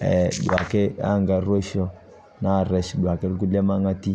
e duake enkaroisho naresh duake lkulie mang'ati .